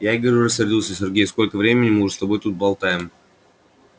я и говорю рассердился сергей сколько времени мы уже с тобой тут болтаем